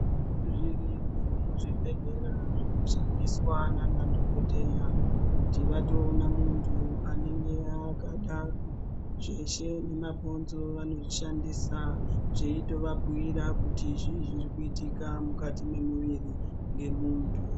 Zvirimwo muzvibhedhlera zvinoshandiswa nanadhokodheya kuti vatoona muntu anenge akadaro zveshe nemabhonzo anozvishandisa zveitooabhiira kuti zvii zviri kuitika mukati mwemiri wemuntu.